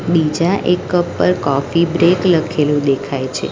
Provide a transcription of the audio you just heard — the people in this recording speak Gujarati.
બીજા એક કપ પર કોફી બ્રેક લખેલું દેખાય છે.